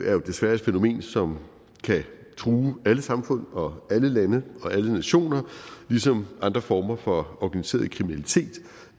er jo desværre et fænomen som kan true alle samfund og alle lande og alle nationer ligesom andre former for organiseret kriminalitet